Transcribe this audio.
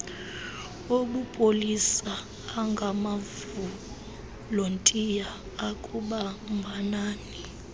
obupolisa angamavolontiya akubambanani